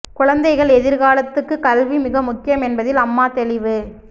குழந்தைகள் எதிர்காலத்துக்குக் கல்வி மிக முக்கியம் என்பதில் அம்மா தெளிவு